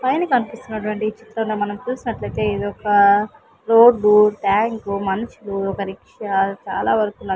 పైన కన్పిస్తున్నటువంటి చిత్రంలో మనం చూసినట్లయితే ఇదొకా రోడ్డూ ట్యాంకు మనుషులు ఒక రిక్షా చాలావరకు న --